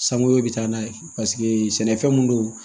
Sanko bi taa n'a ye paseke sɛnɛfɛn mun don